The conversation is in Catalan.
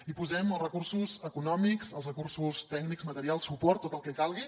hi posem els recursos econòmics els recursos tècnics materials suport tot el que calgui